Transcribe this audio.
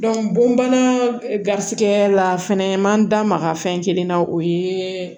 bon bana garisigɛ la fɛnɛ man da maga fɛn kelen na o ye